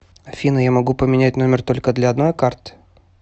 афина я могу поменять номер только для одной карты